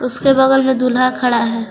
उसके बगल में दूल्हा खड़ा है।